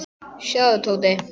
Sjáðu, Tóti.